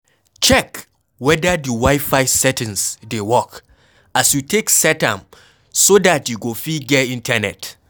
Check weda di wifi settings dey work as you take set am so dat you go fit get internet